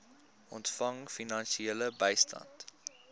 ontvang finansiële bystand